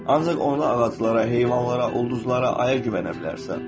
Ancaq onda ağaclara, heyvanlara, ulduzlara, aya güvənə bilərsən.